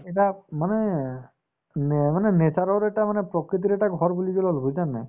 মানে মানে nature ৰ এটা মানে প্ৰকৃতিৰ এটা ঘৰ বুলি যে কলো বুজিছানে নাই